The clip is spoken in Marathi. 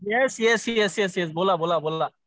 येस येस येस बोला बोला.